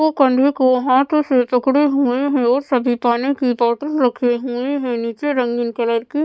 वो कंधों को हाथों से जकड़े हुए हैं और सभी पानी की बॉटल रखे हुए हैं नीचे रंगीन कलर की--